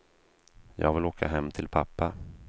Jag vill åka hem till pappa.